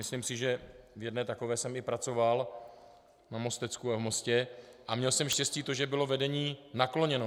Myslím si, že v jedné takové jsem i pracoval na Mostecku a v Mostě a měl jsem štěstí to, že bylo vedení nakloněno.